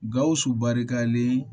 Gawusu barikalen